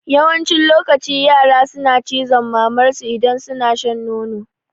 Yawancin lokaci yara suna cizon mamar su idan suna shan nono